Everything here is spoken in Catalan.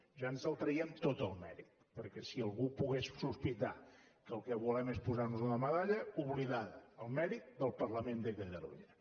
ja ens el traiem tot el mèrit perquè si algú pogués sospitar que el que volem és posar nos una medalla oblidada el mèrit del parlament de catalunya